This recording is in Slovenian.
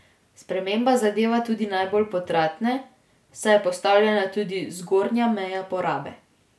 Sprememba zadeva tudi najbolj potratne, saj je postavljena tudi zgornja meja porabe.